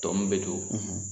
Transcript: Tɔ min bɛ to